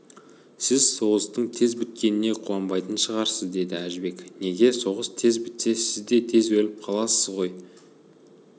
сіз соғыстың тез біткеніне қуанбайтын шығарсыз деді әжібек неге соғыс тез бітсе сіз де тез өліп қаласыз ғой